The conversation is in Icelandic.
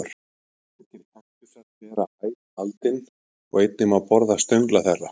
Margir kaktusar bera æt aldin og einnig má borða stöngla þeirra.